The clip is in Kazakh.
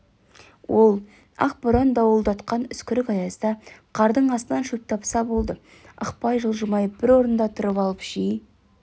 ол ақ боран дауылдатқан үскірік аязда қардың астынан шөп тапса болды ықпай жылжымай бір орында тұрып алып жей